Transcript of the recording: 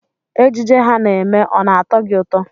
Ejije ha na-eme ọ na-atọ gị ụtọ.